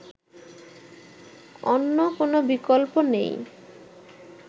অন্য কোন বিকল্প নেই